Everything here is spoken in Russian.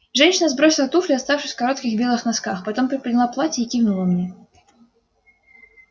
женщина сбросила туфли оставшись в коротких белых носках потом приподняла платье и кивнула мне